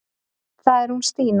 Það er hún Stína.